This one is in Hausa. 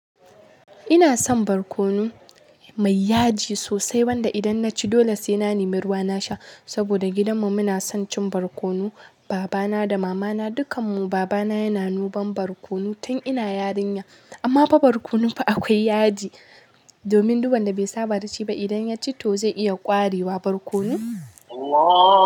Ina son barkono mai yaji sosai wanda idan naci dole sai na nemi ruwa in sha saboda gidanmu muna son cin barkono. Baba na da mama na dukan mu. Baba na yana nuban barkono tun ina yarinya. Amma fa barkono fa akwai yaji. Domin duban da bai saba da shi ba idan ya ci to zai iya ƙwarewa barkono.